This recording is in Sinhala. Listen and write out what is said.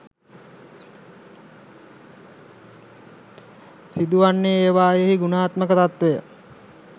සිදුවන්නේ ඒවායෙහි ගුණාත්මක තත්වය